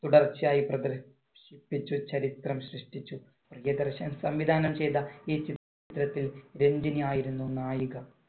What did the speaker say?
തുടർച്ചയായി പ്രദർശിപ്പിച്ച് ചരിത്രം സൃഷ്ടിച്ചു. പ്രിയദർശൻ സംവിധാനം ചെയ്ത ഈ ചിത്രത്തിൽ രഞ്ജിനി ആയിരുന്നു നായിക.